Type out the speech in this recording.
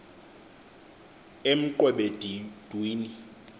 emqwebedwini